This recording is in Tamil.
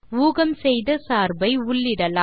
ஊகம் செய்த சார்பை உள்ளிடலாம்